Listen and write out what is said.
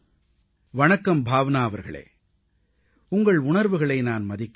வணக்கம் பாவ்னா அவர்களே உங்கள் உணர்வுகளை நான் மதிக்கிறேன்